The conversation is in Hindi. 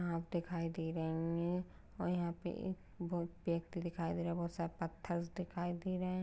आग दिखाई दे रही है और यहाँ पे एक बो-व्यक्ति दिखाई दे रहा है बहोत सारा पत्थर्स दिखाई दे रहे हैं।